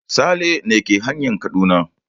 Sale ne ke hanyan Kaduna.